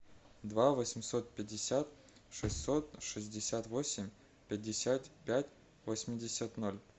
два восемьсот пятьдесят шестьсот шестьдесят восемь пятьдесят пять восемьдесят ноль